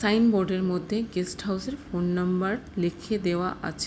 Signboard - এর মধ্যে guest house - এর ফোন নম্বর লিখে দেওয়া আছে।